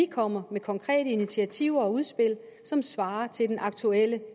kommer med konkrete initiativer og udspil som svarer til den aktuelle